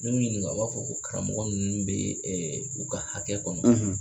Min n'u ɲininka u b'a fɔ ko karamɔgɔ ninnu bɛ u ka hakɛ kɔnɔ